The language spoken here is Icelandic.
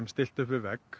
stillt upp við vegg